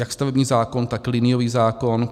Jak stavební zákon, tak liniový zákon.